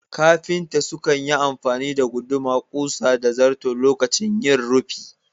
Kafinta sukan yi amfani da guduma, ƙusa da zarto lokacin yin rufi